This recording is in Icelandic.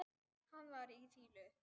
Hann var í fýlu.